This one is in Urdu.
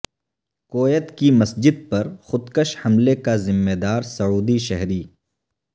کویت کی مسجد پر خودکش حملے کا ذمہ دار سعودی شہری